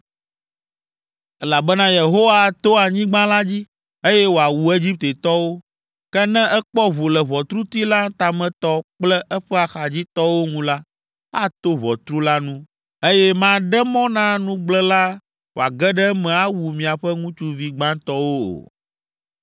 “Elabena Yehowa ato anyigba la dzi, eye wòawu Egiptetɔwo. Ke ne ekpɔ ʋu le ʋɔtruti la tametɔ kple eƒe axadzitɔwo ŋu la, ato ʋɔtru la ŋu, eye maɖe mɔ na nugblẽla wòage ɖe eme awu miaƒe ŋutsuvi gbãtɔwo o.